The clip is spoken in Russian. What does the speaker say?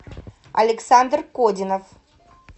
александр кодинов